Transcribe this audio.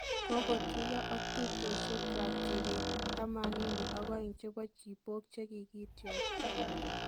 Kogotuiyoo ak tupchoyiekwak tiibiik 82 chebo Chibok chekigitiokto.